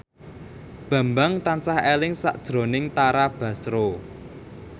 Bambang tansah eling sakjroning Tara Basro